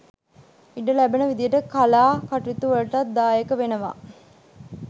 ඉඩ ලැබෙන විදියට කලා කටයුතුවලටත් දායක වෙනවා